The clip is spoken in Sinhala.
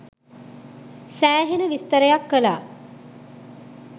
සෑහෙන විස්තරයක් කලා